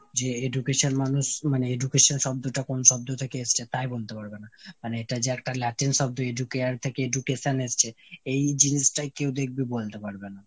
যে education মানুষ education শব্দটা কোন শব্দ থেকে এসছে তাই বলতে পারবেনা। মানে এটা যে একটা Latin শব্দ Educare থেকে education এসছে এই জিনিসটাই কেউ দেখবি বলতে পারবে না।